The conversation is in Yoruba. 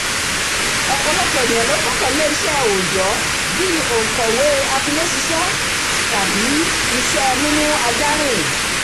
ọ̀pọ̀lọpọ̀ ènìyàn ló gbọ́kànlé iṣẹ́ ẹ òòjọ́ bí i òǹkọ̀wé e atiléṣiṣẹ́ tàbí iṣẹ́ ẹ múmú ajá rìn